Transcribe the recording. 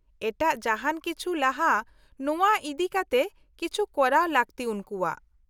-ᱮᱴᱟᱜ ᱡᱟᱦᱟᱱ ᱠᱤᱪᱷᱩ ᱞᱟᱦᱟ ᱱᱚᱶᱟ ᱤᱫᱤᱠᱟᱛᱮ ᱠᱤᱪᱷᱩ ᱠᱚᱨᱟᱣ ᱞᱟᱹᱠᱛᱤ ᱩᱱᱠᱩᱣᱟᱜ ᱾